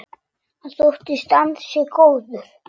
Hann þóttist ansi góður.